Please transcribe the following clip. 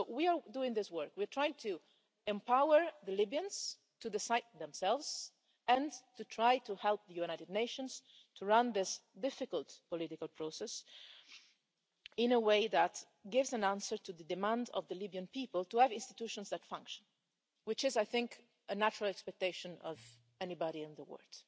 So we are doing this work, we're trying to empower the Libyans to decide for themselves and to try to help the United Nations to run this difficult political process in a way that gives an answer to the demand of the Libyan people to have institutions that function, which is, I think, a natural expectation of anybody in the world.